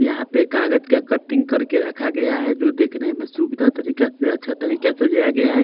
यहां पे कागज का कटिंग कर के रखा गया हैं जो देखने में सुविधा तरीका से अच्छा तरीका से सजाया गया हैं।